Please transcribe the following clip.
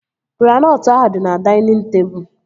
Granọtụ ahụ dị na dainịn tebụl